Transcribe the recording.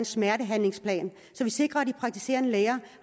smertebehandlingsplan så vi sikrer at de praktiserende læger